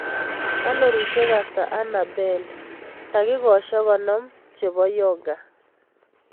Kalorishek ata ane abel takikoshek konom chebo yoga